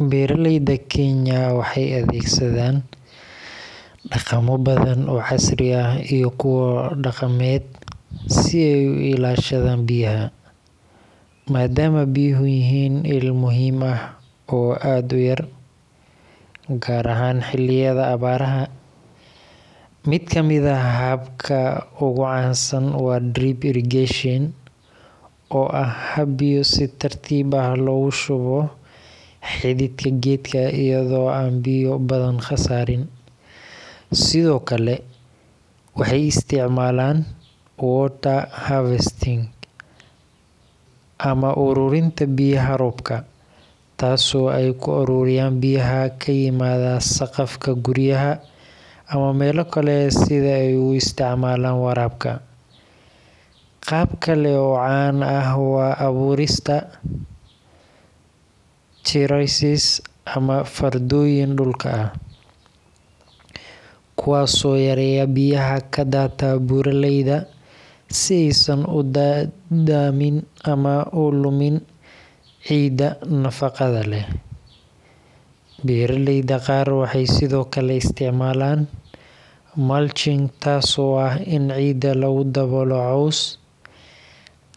Beeraleyda Kenya waxay adeegsadaan dhaqamo badan oo casri ah iyo kuwo dhaqameed si ay u ilaashadaan biyaha, maadaama biyuhu yihiin il muhiim ah oo aad u yar, gaar ahaan xilliyada abaaraha. Mid ka mid ah hababka ugu caansan waa drip irrigation, oo ah hab biyo si tartiib ah loogu shubo xididka geedka iyadoo aan biyo badan khasaarin. Sidoo kale, waxay isticmaalaan water harvesting ama ururinta biyaha roobka, taasoo ay ku ururiyaan biyaha ka yimaada saqafka guryaha ama meelo kale, si ay ugu isticmaalaan waraabka. Qaab kale oo caan ah waa abuurista terraces ama fardooyin dhulka ah, kuwaas oo yareeya biyaha ka daata buuraleyda si aysan u daadamin ama u lumin ciidda nafaqada leh. Beeraleyda qaar waxay sidoo kale isticmaalaan mulching, taasoo ah in ciidda lagu daboolo caws,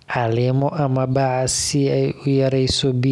caleemo ama bac si ay u yareyso biyo.